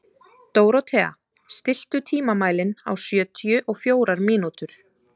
Dórothea, stilltu tímamælinn á sjötíu og fjórar mínútur.